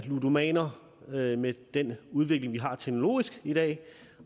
ludomaner med med den udvikling vi har teknologisk i dag